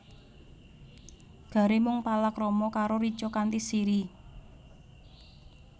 Gary mung palakrama karo Richa kanthi Siri